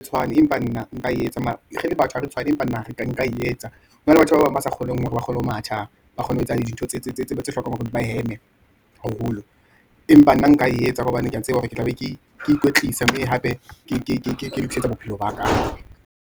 Tshwane, Empa nna nka e etsa, mare re le batho ha re tshwane, empa nna nka e etsa. Hona le batho ba bang ba sa kgoneng hore ba kgone ho matha, ba kgone ho etsahala dintho tse hlokang hore di ba heme haholo. Empa nna nka e etsa ka hobane ke ya tseba hore ke tla be ke ke ikwetlisa, mme hape ke lokisetsa bophelo baka.